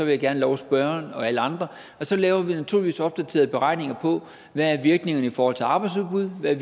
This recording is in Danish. jeg gerne love spørgeren og alle andre at så laver vi naturligvis opdaterede beregninger på hvad virkningerne er i forhold til arbejdsudbud hvad